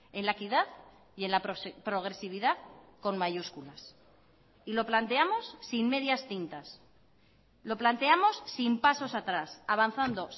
en la equidad y en la progresividad con mayúsculas y lo planteamos sin medias tintas lo planteamos sin pasos atrás avanzando